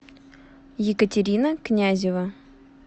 екатерина князева